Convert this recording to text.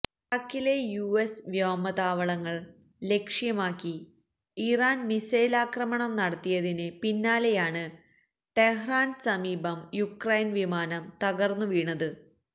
ഇറാഖിലെ യുഎസ് വ്യോമത്താവളങ്ങള് ലക്ഷ്യമാക്കി ഇറാന് മിസൈല് ആക്രമണം നടത്തിയതിന് പിന്നാലെയാണ് ടെഹ്റാന് സമീപം യുക്രൈന് വിമാനം തകര്ന്നുവീണത്